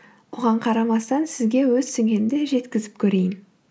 оған қарамастан сізге өз түсінгенімді жеткізіп көрейін